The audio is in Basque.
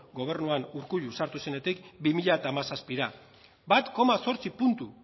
gobernuan urkullu sartu zenetik bi mila hamazazpira bat koma zortzi puntu